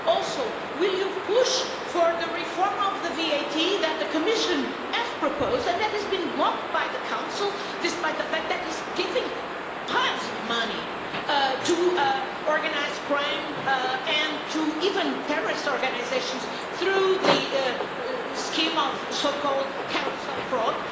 Also, will you push for the reform of the VAT that the Commission has proposed and that has been blocked by the Council, despite the fact that it is giving piles of money to organised crime, and even to terrorist organisations, through the scheme of so called carousel fraud?